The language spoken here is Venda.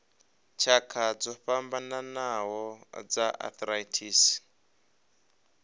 tshakha dzo fhambanaho dza arthritis